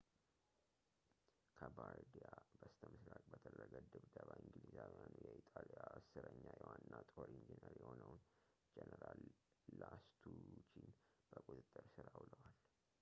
ከባርዲያ በስተምሥራቅ በተደረገ ድብደባ እንግሊዛዊያኑ የኢጣሊያ አሥረኛ ዋና የጦር ኢንጂነር የሆነውን ጄኔራል ላስቱቺን በቁጥጥር ሥር አውሏል